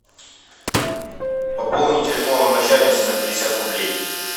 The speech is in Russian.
пополни телефон начальницы на пятьдесят рублей